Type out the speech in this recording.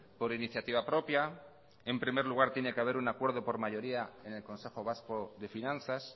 por iniciativa propia en primer lugar tiene que haber un acuerdo por mayoría en el consejo vasco de finanzas